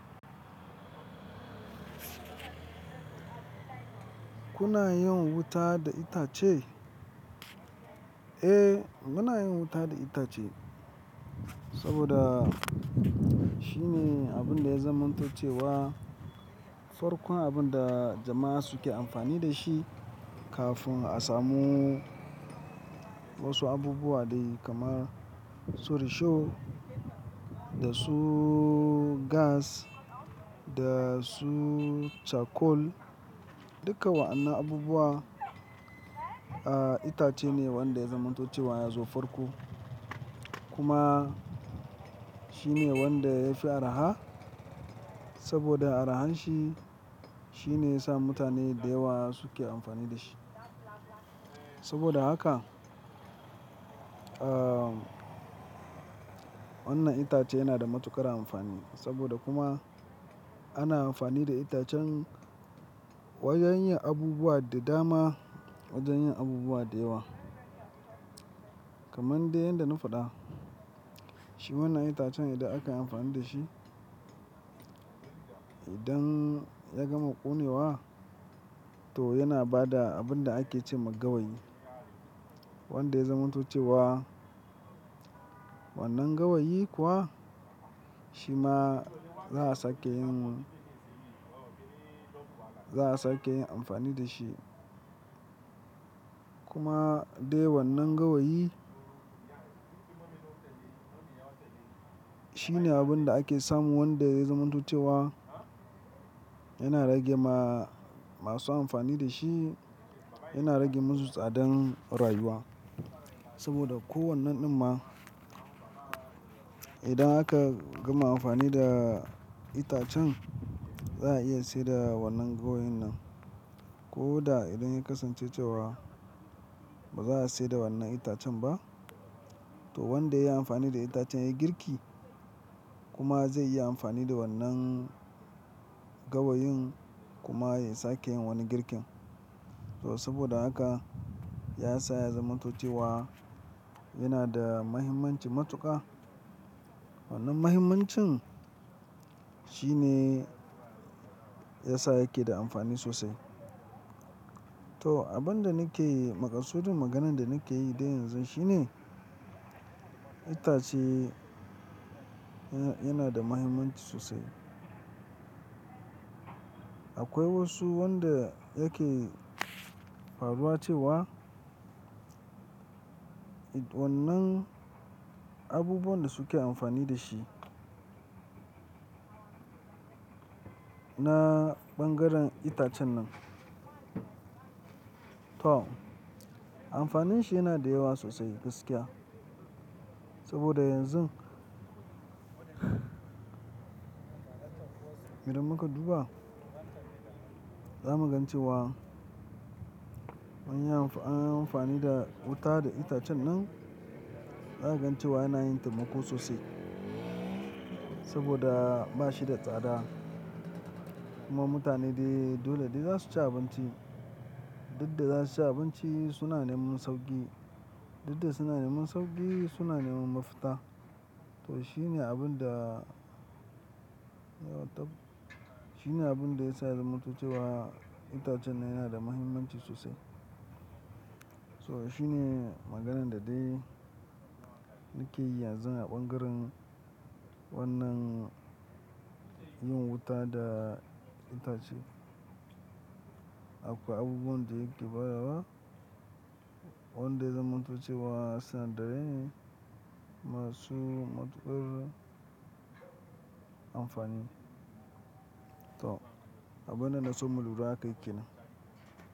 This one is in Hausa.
Kuna yin wuta da itace? Eh, muna yin wuta da itace saboda shine abin da ya zamanto cewa farkon abin da jama'a suke amfani da shi kafin a samu wasu abubuwa dai kamar su risho da su gas da su cakol. Duka wa'annan abubuwa, ah, itace ne wanda ya zamantace cewa ya zo farko. Kuma shine wanda ya fi araha saboda arahanshi shine ya sa mutane da yawa suke amfani da shi. Saboda haka, ah, wannan itace yana da matuƙar amfani saboda kuma ana amfani da itacen wajen yin abubuwa da dama, wajen yin abubuwa da yawa. Kaman dai yanda na faɗa, shi wannan itacen idan aka yi amfani da shi, idan ya gama ƙone wa to yana ba da abin da ake ce ma gawayi wanda ya zamantace cewa wannan gawayi kuwa shi ma za a sake yin, za a sake yin amfani da shi. Kuma dai wannan gawayi shine abin da ake samu wanda ya zamantace cewa yana rage ma masu amfani da shi, yana rage musu tsadan rayuwa. Saboda kowane ɗin ma idan aka gama amfani da itacen za a iya sayar da wannan gawayin nan. Ko da idan ya kasance cewa ba za a sayar da wannan itacen ba to wanda ya yi amfani da itacen ya yi girki kuma zai iya amfani da wannan gawayin kuma ya sake yin wani girkin. To saboda haka ya sa ya zamantace cewa yana da muhimmanci matuƙa. Wannan muhimmancin shi ne ya sa yake da amfani sosai. To abin da nake yi, maƙasidun maganan da nake yi dai yanzu shine itace ya-yana da muhimmanci sosai. Akwai wasu wanda yake faruwa cewa idan wannan abubuwan da suke amfani da shi na ɓangaren itacen nan, to amfanin shi yana da yawa sosai gaskiya. Saboda yanzu idan muka duba, za mu gan cewa an yi amfani da wuta da itacen nan, za a gan cewa yana yin taimako sosai saboda ba shi da tsada. Kuma mutane dai dole dai za su ci abinci. Dukda za su ci abinci, suna neman sauƙi. Dudda suna neman sauƙi, suna neman mafita. To shi ne abin da ya taɓa, shi ne abin da ya sa ya zamanto cewa itacen nan yana da muhimmanci sosai. So shi ne maganan da dai nake yi yanzu a ɓangaren wannan yin wuta da itace. Akwai abubuwan da yake bayarwa, wanda ya zamanta cewa sanadarai ne masu matuƙar amfani. To, abune na so mu lura aka yi kenan.